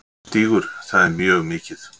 Stígur: Það er mjög mikið.